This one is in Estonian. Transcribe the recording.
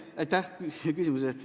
Aitäh küsimuse eest!